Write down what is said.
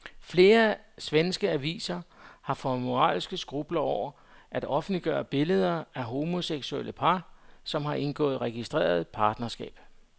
Flere svenske aviser har fået moralske skrupler over at offentliggøre billeder af homoseksuelle par, som har indgået registreret partnerskab.